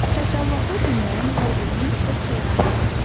Təkallahlı dinlərin hər birinin öz peyğəmbəri var.